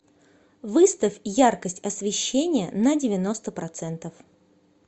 выставь яркость освещения на девяносто процентов